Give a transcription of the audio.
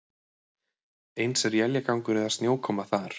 Eins er éljagangur eða snjókoma þar